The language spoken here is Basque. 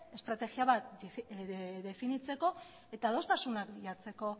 estrategia bat definitzeko eta adostasunak bilatzeko